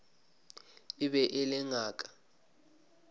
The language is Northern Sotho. e be e le ngaka